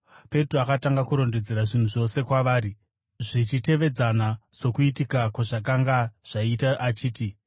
Petro akatanga kurondedzera zvinhu zvose kwavari zvichitevedzana sokuitika kwazvakanga zvaita achiti,